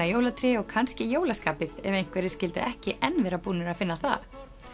jólatré og kannski jólaskapið ef einhverjir skyldu ekki enn vera búnir að finna það